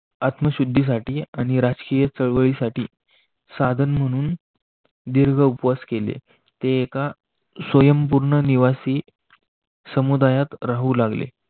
आत्मशुद्धीसाठी आणि राजकीय चळवळीसाठी साधन म्हणून दीर्घ उपवास केले. ते एका स्वयंपूर्ण निवासी समुदायात राहू लागले